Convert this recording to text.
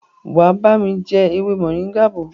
wá bami já ewé Moringa bó.